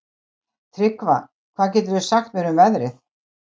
Tryggva, hvað geturðu sagt mér um veðrið?